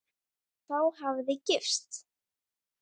Og þá hafið þið gifst?